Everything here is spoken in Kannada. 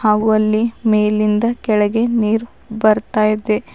ಹಾಗು ಅಲ್ಲಿ ಮೇಲಿಂದ ಕೆಳಗೆ ನೀರ್ ಬರ್ತಾ ಇದೆ.